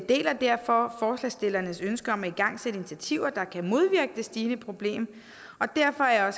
deler derfor forslagsstillernes ønske om at igangsætte initiativer der kan modvirke det stigende problem derfor er